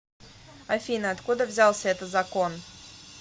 афина откуда взялся это закон